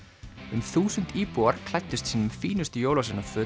um þúsund íbúar klæddust sínum fínustu